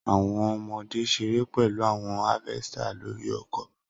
Awọn ọmọde ṣere pẹlu awọn harvesters lori oko